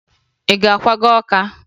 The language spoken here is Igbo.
Ị ga-akwaga Ọka?